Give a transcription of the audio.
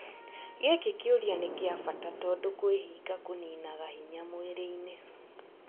Gĩkĩ kĩũria nĩ kĩa bata tondũ kwĩhinga kũninaga hinya mwĩrĩ-inĩ